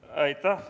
Aitäh!